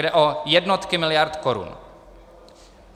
Jde o jednotky miliard korun.